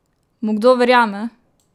Mu kdo verjame?